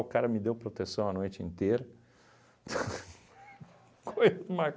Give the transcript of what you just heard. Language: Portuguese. cara me deu proteção a noite inteira.